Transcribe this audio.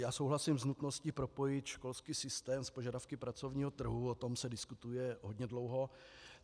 Já souhlasím s nutností propojit školský systém s požadavky pracovního trhu, o tom se diskutuje hodně dlouho.